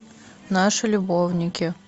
наши любовники